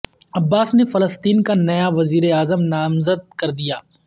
عباس نے فلسطین کا نیا وزیر اعظم نامزد کردیا